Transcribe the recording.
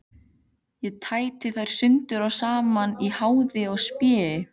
Ég tæti þær sundur og saman í háði og spéi.